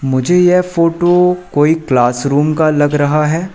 मुझे यह फोटो कोई क्लासरूम का लग रहा है।